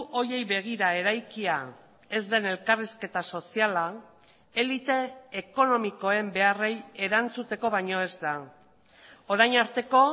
horiei begira eraikia ez den elkarrizketa soziala elite ekonomikoen beharrei erantzuteko baino ez da orain arteko